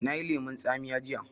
Na yi lemun tsamiya jiya